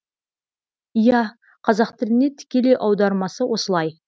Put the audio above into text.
иә қазақ тіліне тікелей аудармасы осылай